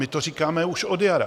My to říkáme už od jara.